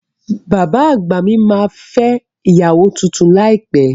Bàbá àgbà mí ma fẹ́ ìyàwó tuntun láìpẹ́